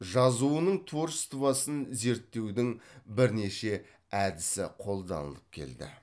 жазуының творчествосын зерттеудің бірнеше әдісі қолданылып келді